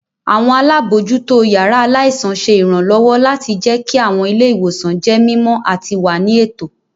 Àwọn alábòójútó yàrá aláìsàn ṣé ìrànlọ́wọ́ láti jẹkí àwọn ilé-ìwòsàn jẹ́ mímọ àti wà ní ètò